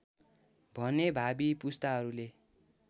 भने भावी पुस्ताहरूले